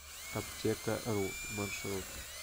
аптекару маршрут